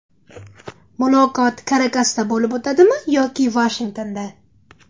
Muloqot Karakasda bo‘lib o‘tadimi yoki Vashingtonda?